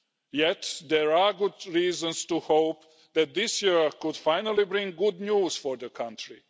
Yet there are good reasons to hope that this year could finally bring good news for the country.